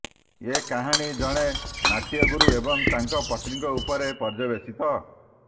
ଏ କାହାଣୀ ଜଣେ ନାଟ୍ୟଗୁରୁ ଏବଂ ତାଙ୍କ ପତ୍ନୀଙ୍କ ଉପରେ ପର୍ଯ୍ୟବେସିତ